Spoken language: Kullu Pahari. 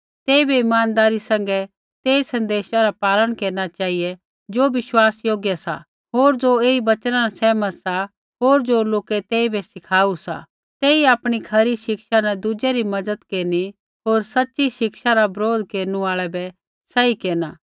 तेइबै इमानदारी सैंघै तेई सन्देशा रा पालन केरना चेहिऐ ज़ो विश्वासयोग्य सा होर ज़ो ऐई वचना न सहमत सा होर ज़ो लोकै तेइबै सिखाऊ सा तेई आपणी खरी शिक्षा न दुज़ै री मज़त केरनी होर सच़ी शिक्षा रा बरोध केरनु आल़ै बै सही केरना